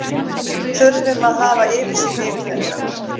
Við þurfum að hafa yfirsýn yfir þetta.